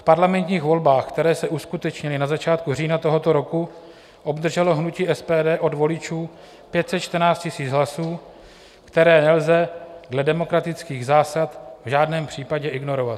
V parlamentních volbách, které se uskutečnily na začátku října tohoto roku, obdrželo hnutí SPD od voličů 514 000 hlasů, které nelze dle demokratických zásad v žádném případě ignorovat.